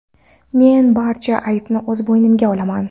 Men barcha aybni o‘z bo‘ynimga olaman.